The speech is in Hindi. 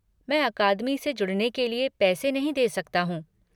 मैं अकादमी से जुड़ने के लिए पैसे नहीं दे सकता हूँ।